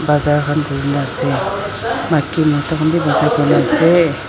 bazar khan kurina ase maki mota khan bi bazar kurina ase.